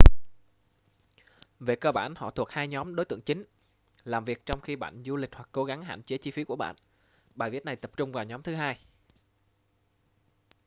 về cơ bản họ thuộc hai nhóm đối tượng chính làm việc trong khi bạn du lịch hoặc cố gắng và hạn chế chi phí của bạn bài viết này tập trung vào nhóm thứ hai